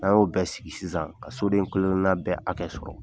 N' y'o bɛɛ sigi sisan ka soden kelen kelen na bɛ hakɛ sɔrɔ